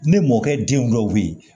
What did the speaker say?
Ne mɔkɛ den dɔw be ye